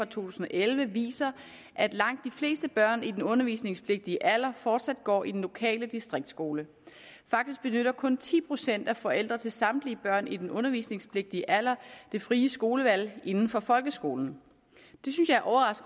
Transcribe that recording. tusind og elleve viser at langt de fleste børn i den undervisningspligtige alder fortsat går i den lokale distriktsskole faktisk benytter kun ti procent af forældre til samtlige børn i den undervisningspligtige alder det frie skolevalg inden for folkeskolen